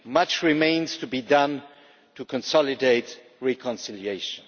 Much remains to be done to consolidate reconciliation.